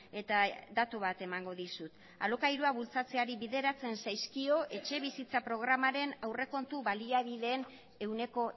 eta datu bat emango dizut alokairua bultzatzeari bideratzen zaizkio etxebizitza programaren aurrekontu baliabideen ehuneko